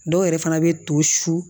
Dɔw yɛrɛ fana bɛ to su